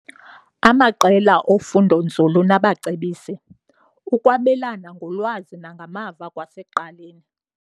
Amaqela ofundonzulu nabacebisi- Ukwabelana ngolwazi nangamava kwasekuqaleni.